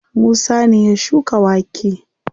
Musa ne ya shuka wake.